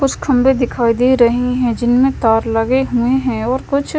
उस खंबे दिखाई दे रहे हैं जिनमें तार लगे हुए हैं और कुछ--